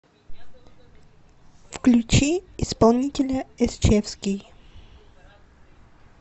включи исполнителя эсчевский